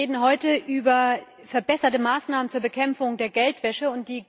Wir reden heute über verbesserte Maßnahmen zur Bekämpfung der Geldwäsche.